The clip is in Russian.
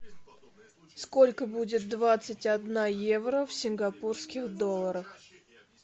сколько будет двадцать одна евро в сингапурских долларах